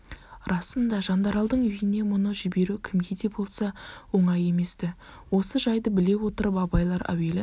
расында жандаралдың үйіне мұны жіберу кімге де болса оңай емес-ті осы жайды біле отырып абайлар әуелі